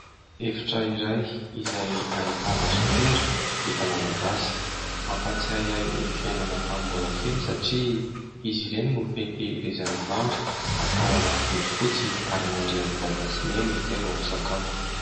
Efitra iray izay ahitana sopera vita malagasy, mampatsiahy ahy ny fiainana tamin'ny mbola kely satria izy ireny no fitahirizana vary, atao anaty bodifotsy ary miandry an'i dada sy i neny izay vao misakafo.